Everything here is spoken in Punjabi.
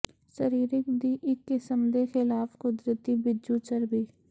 ਸਰੀਰਿਕ ਦੀ ਇੱਕ ਕਿਸਮ ਦੇ ਖਿਲਾਫ ਕੁਦਰਤੀ ਬਿੱਜੂ ਚਰਬੀ